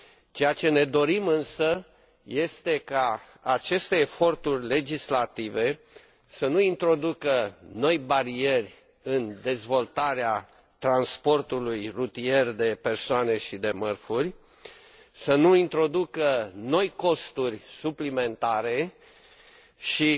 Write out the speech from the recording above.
Ceea ce ne dorim, însă, este ca aceste eforturi legislative să nu introducă noi bariere în dezvoltarea transportului rutier de persoane și de mărfuri, să nu introducă noi costuri suplimentare și